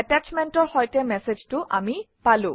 এটাশ্বমেণ্টৰ সৈতে মেচেজটো আমি পালো